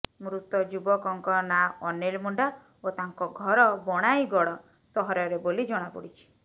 ମୃତ ଯୁବକଙ୍କ ନାଁ ଅନିଲ ମୁଣ୍ଡା ଓ ତାଙ୍କ ଘର ବଣାଇଁଗଡ ସହରରେ ବୋଲି ଜଣାପଡିଛି